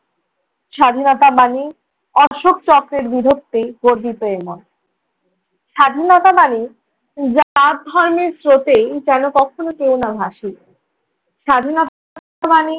স্বাধীনতা মানে অশোক চক্রের বীরত্বে গর্বিত এই মন, স্বাধীনতা মানে জাত ধর্মের স্রোতে যেন কখনো কেউ না ভাসি। স্বাধীনতা মানে